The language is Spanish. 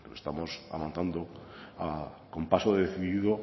estamos avanzando con paso decidido